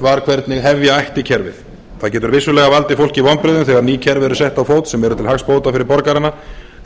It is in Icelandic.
var hvernig hefja ætti kerfið það getur vissulega valdið fólki vonbrigðum þegar ný kerfi eru sett á fót sem eru til hagsbóta fyrir borgarana